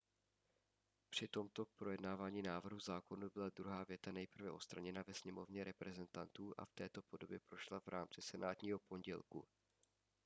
při tomto projednávání návrhu zákonů byla druhá věta nejprve odstraněna ve sněmovně reprezentantů a v této podobě prošla v rámci senátního pondělku